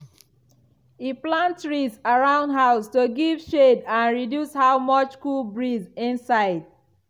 e plant trees round house to give shade and reduce how much cool breeze inside.